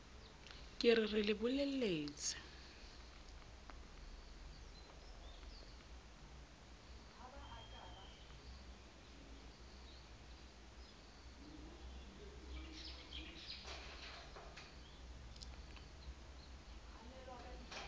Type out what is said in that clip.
ke re re le bolelletse